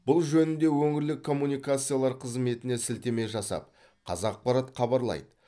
бұл жөнінде өңірлік коммуникациялар қызметіне сілтеме жасап қазақпарат хабарлайды